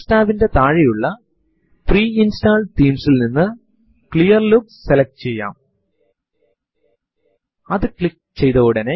file one എന്ന പേരിൽ ഒരു ഫൈൽ അവിടെ മുൻപേ തന്നെ നിലനില്കുന്നു എങ്കിൽ യൂസർ ഇൻപുട്ട് ഈ file ൽ എഴുതപ്പെടും